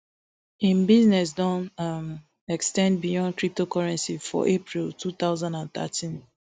im business don um ex ten d beyond cryptocurrency for april two thousand and thirteen